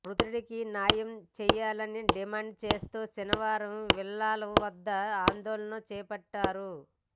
మృతుడికి న్యాయం చేయాలని డిమాండ్ చేస్తూ శనివారం విల్లాల వద్ద ఆందోళన చేపట్టారు